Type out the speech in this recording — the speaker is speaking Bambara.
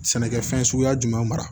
Sɛnɛkɛfɛn suguya jumɛn mara